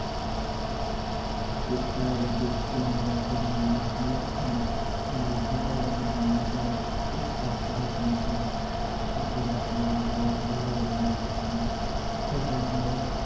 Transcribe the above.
ਕਿਰਸਾਣੀ ਕਿਰਤ ਦੀਆਂ ਅਤੇ ਨਿਯਮਤ ਅਮ ਮੱਧ ਭਾਰਤ ਦੇ ਪਾਤ ਪਾਤਰਾਂ ਦੇ ਦੋ ਦੁਖਾਂਤ ਨੂੰ ਬਹੁਤ ਡੂੰਘਾਈ ਨਾਲ ਅਤੇ ਸਫਲਤਾ